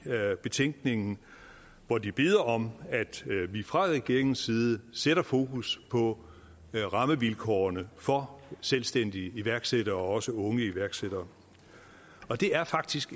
betænkningen hvor de beder om at vi fra regeringens side sætter fokus på rammevilkårene for selvstændige iværksættere også unge iværksættere og det er faktisk